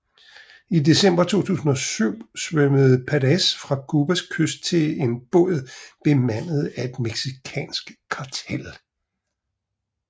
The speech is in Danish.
I december 2007 svømmede Perez fra Cubas kyst til en båd bemandet af et mexicansk kartel